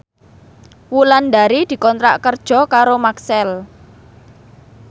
Wulandari dikontrak kerja karo Maxell